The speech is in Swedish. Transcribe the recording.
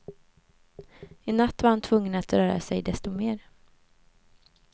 I natt var han tvungen att röra sig desto mer.